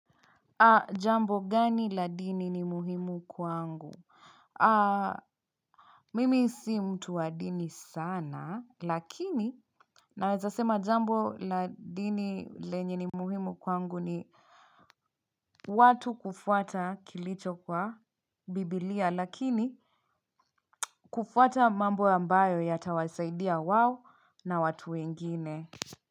Jambo gani la dini ni muhimu kwangu? Mimi si mtu wa dini sana lakini ninaweza sema jambo la dini lenye ni muhimu kwangu ni watu kufuata kilicho kwa biblia, lakini kufuata mambo ambayo yatawasaidia wao na watu wengine.